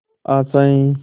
आशाएं